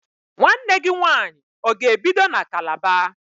Nwanne gị nwaanyị ọ ga-ebido na Kalaba?